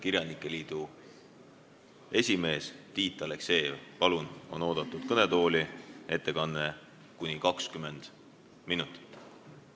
Kirjanike liidu esimees Tiit Aleksejev on oodatud kõnetooli, ettekanne kuni 20 minutit.